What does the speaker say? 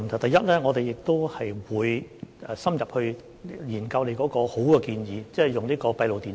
第一，我們會深入研究這個好建議，即安裝閉路電視。